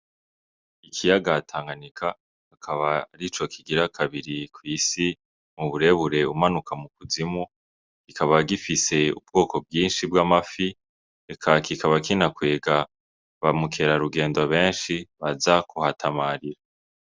Ikiyaga Tanganyika akaba arico kigira kabiri kw'isi mu burebure umanuka mu kuzimu, kikaba gifise ubwoko bw'inshi bw'amafi eka kikaba kinakwega ba mukerarugendo benshi baza kuhasamarira.